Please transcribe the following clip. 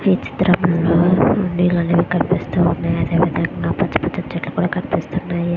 ఈ చిత్రం లొ హోంది లు కూడా కనిపిస్తూ వున్నాయ్ పెద్ద పెద్ద చెట్లు కూడా కనిపిస్తూ వున్నాయ్.